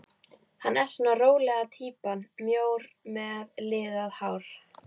Hann er svona rólega týpan, mjór með liðað hár.